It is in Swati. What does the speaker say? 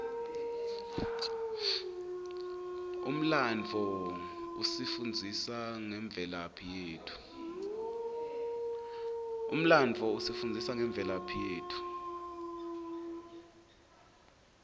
umlandvo usifundzisa ngemvelaphi yetfu